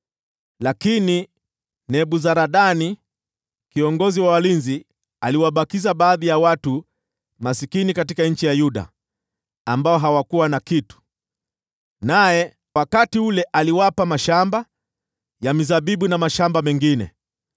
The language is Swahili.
Lakini Nebuzaradani kiongozi wa walinzi aliwabakiza baadhi ya watu maskini katika nchi ya Yuda, ambao hawakuwa na kitu. Naye wakati huo akawapa mashamba ya mizabibu na mashamba mengine.